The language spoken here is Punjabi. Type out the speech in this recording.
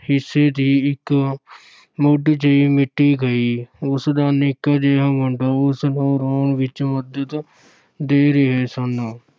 ਹਿੱਸੇ ਦੀ ਇੱਕ ਮੁੱਠ ਜਿਹੀ ਮੀਟੀ ਗਈ, ਉਸ ਦਾ ਨਿੱਕਾ ਜਿਹਾ ਮੁੰਡਾ ਉਸ ਨੂੰ ਰੋਣ ਵਿੱਚ ਮਦਦ ਦੇ ਰਹੇ ਸਨ।